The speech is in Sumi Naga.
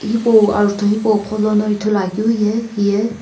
hipau ajutho hipau qholono ithuluakeu ye hiye.